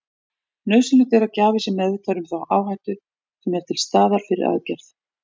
Nauðsynlegt er að gjafi sé meðvitaður um þá áhættu sem er til staðar fyrir aðgerð.